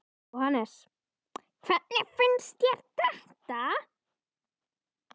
Jóhannes: Hvernig finnst þér þetta?